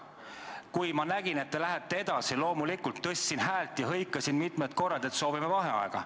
Kui ma nägin, et te lähete edasi, ma loomulikult tõstsin häält ja hõikasin mitu korda, et me soovime vaheaega.